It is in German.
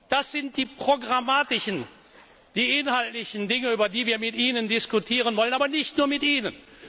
Das sind die programmatischen, die inhaltlichen Dinge, über die wir mit Ihnen diskutieren wollen, aber nicht nur mit